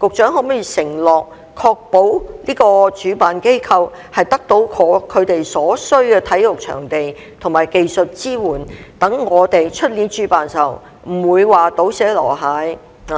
局長可否承諾，確保主辦機構得到他們所需的體育場地及技術支援，讓我們明年主辦時不會"倒瀉籮蟹"，不